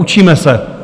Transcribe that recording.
Učíme se.